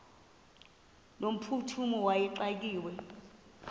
no mphuthumi wayexakiwe